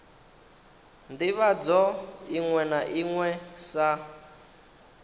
ndivhadzo iṅwe na iṅwe sa